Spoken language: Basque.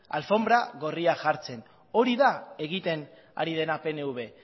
alfonbra gorria jartzen hori da egiten ari dena pnv